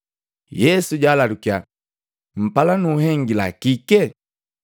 Yesu jalalukya, “Mpala nunhengila kike?”